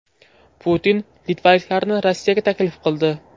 Putin litvaliklarni Rossiyaga taklif qildi.